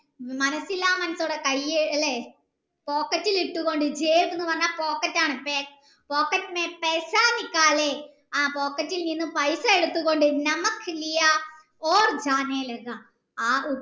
മനസില്ല മനസ്സോട് കയ്യ് അല്ലെ pocket ഇൽ ഇട്ട് കൊണ്ട് എന്ന് പറഞ്ഞാൽ pocket ആണ് ആ pocket നിന്നും പൈസ എടുത്തു കൊണ്ട്